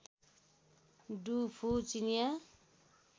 do Fu चिनियाँ